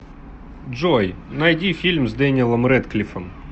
джой найди фильм с дэниелом рэдклиффом